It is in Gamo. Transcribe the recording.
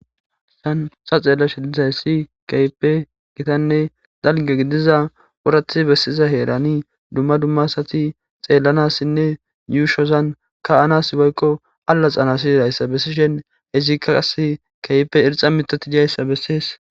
Haysan ta xellashe dizay Kehippe Gitane dalga Gidiza orathi besiza heran Duma Duma Asati xellanasine Yushozan kaenas loeiza Woyko Aloxana bessisheIzika qasse Kehipe irxa mithati Dizaysa beses